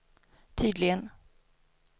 tydligen